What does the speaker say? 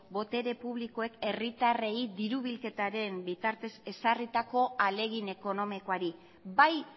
botere publikoek herritarrei diru bilketaren bitartez ezarritako ahalegin ekonomikoari bai